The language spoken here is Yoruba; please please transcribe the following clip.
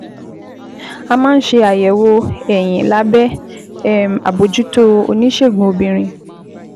A máa ń ṣe àyẹ̀wò ẹyin lábẹ́ um àbójútó oníṣègùn obìnrin